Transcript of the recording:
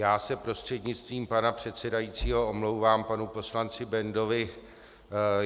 Já se prostřednictvím pana předsedajícího omlouvám panu poslanci Bendovi.